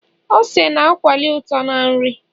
ose na akwali uto na nri